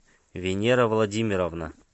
венера владимировна